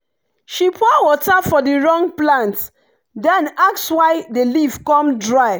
she pour water for the wrong plant then ask why the leaf come dry.